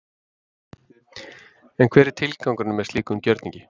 En hver er tilgangurinn með slíkum gjörningi?